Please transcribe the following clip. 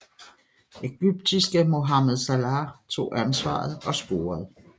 Egyptiske Mohamed Salah tog ansvaret og scorede